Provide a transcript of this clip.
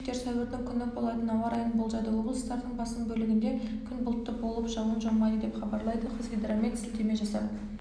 синоптиктер сәуірдің күні болатын ауа райын болжады облыстардың басым бөлігінде күн бұлтты болып жауын жаумайды деп хабарлайды қазгидромет сілтеме жасап